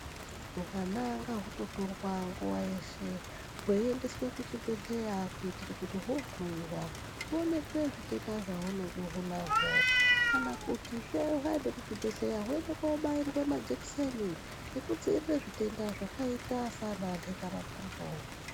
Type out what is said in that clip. Huwana ngahutotorwa nguwa yeshe hweiendeswe kuzvibhehleya kuitire kuti hohloiwa huonekwe zvitenda zvaunenge hunahwo kana kutisve hwaende kuzvibhehlera hwoende kobairwa majekiseni ekudzivirire zvitenda zvakaita sananhendamakumbo.